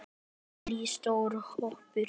Lillý: Stór hópur?